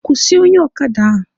Kwụsị onye ọkada a!